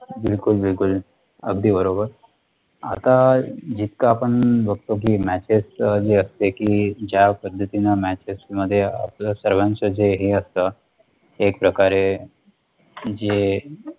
बिलकुल बिलकुल, अगदी बरोबर. आता जितकं आपण बघतो की Matches जे असते कि, ज्या पद्धतीने Matches आपल्या सर्वांचं जे हे असत, एक प्रकारे जे